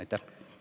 Aitäh!